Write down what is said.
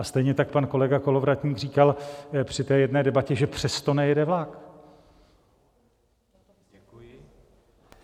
A stejně tak pan kolega Kolovratník říkal při jedné debatě, že přes to nejede vlak.